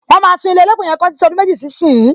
Wọn máa tún ilé elépè yẹn kọ títí ọdún méjì sí ìsín.